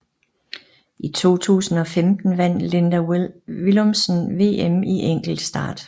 I 2015 vandt Linda Villumsen VM i enkeltstart